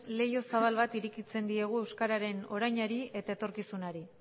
leiho zabal bat irekitzen diogu euskararen orainari eta etorkizunari